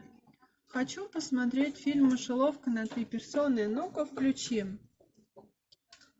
хочу посмотреть фильм мышеловка на три персоны ну ка включи